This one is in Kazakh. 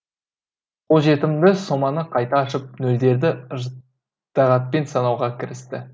қолжетімді соманы қайта ашып нөлдерді ыждағатпен санауға кірісті